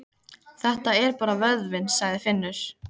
Þetta er bara vöðvinn, sagði Finnur.